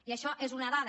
i això és una dada